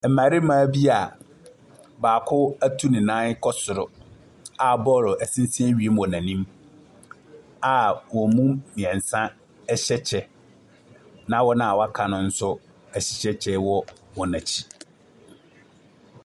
Mmarima bi a baako atu ne nan kɔ soro a bɔɔlo sensɛn wiem wɔ n'anim a wɔn mu mmiɛnsa hyɛ kyɛ na wɔn aka no nso hyɛ kyɛ wɔ wɔn akyi.